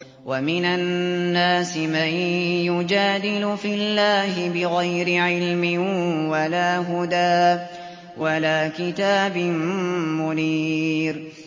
وَمِنَ النَّاسِ مَن يُجَادِلُ فِي اللَّهِ بِغَيْرِ عِلْمٍ وَلَا هُدًى وَلَا كِتَابٍ مُّنِيرٍ